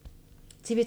TV 2